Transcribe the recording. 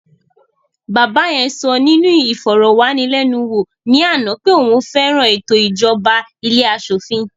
Bàbá yẹn sọ nínú ìfọ̀rọ̀wánilénuwò ní àná pé òun fẹ́ràn ètò ìjọba ilé aṣòfin